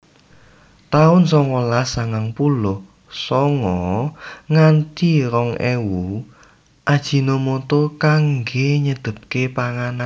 taun songolas sangang puluh sanga nganti rong ewu Ajinomoto kangge nyedhepke panganan